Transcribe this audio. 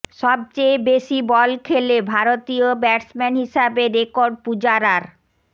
সবচেয়ে বেশি বল খেলে ভারতীয় ব্যাটসম্যান হিসাবে রেকর্ড পূজারার